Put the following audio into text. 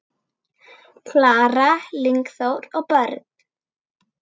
Klara, Lingþór og börn.